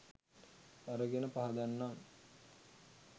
අරගෙන පහදන්නම්.